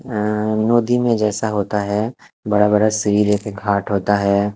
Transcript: आ नोधी में जैसा होता है बड़ा बड़ा सीले के घाट होता है।